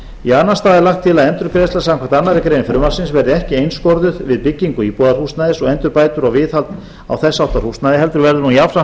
í annan stað er lagt til að endurgreiðsla samkvæmt annarri grein frumvarpsins verði ekki einskorðuð við byggingu íbúðarhúsnæðis og endurbætur og viðhald á þess háttar húsnæði heldur verði hún jafnframt